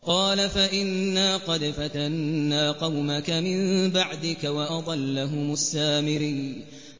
قَالَ فَإِنَّا قَدْ فَتَنَّا قَوْمَكَ مِن بَعْدِكَ وَأَضَلَّهُمُ السَّامِرِيُّ